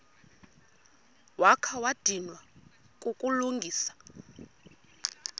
wakha wadinwa kukulungisa